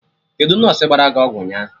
Kedụ nọsụ gbara gị ọgwụ ụnyaahụ?